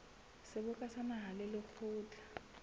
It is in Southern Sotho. seboka sa naha le lekgotla